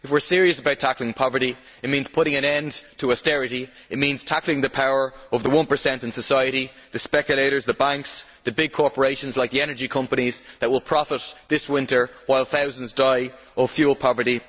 If we are serious about tackling poverty, it means putting an end to austerity, it means tackling the power of the 1 in society the speculators, the banks, the big corporations like the energy companies that will profit this winter while thousands die of fuel poverty.